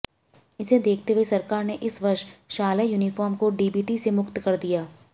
इसे देखते हुए सरकार ने इस वर्ष शालेय यूनिफार्म को डीबीटी से मुक्त कर दिया